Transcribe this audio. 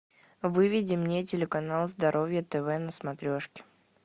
выведи мне телеканал здоровье тв на смотрешке